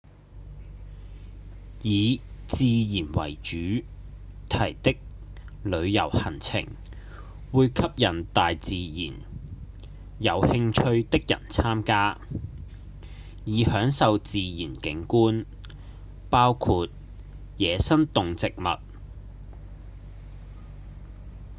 以自然為主題的旅遊行程會吸引大自然有興趣的人參加以享受自然景觀包括野生動植物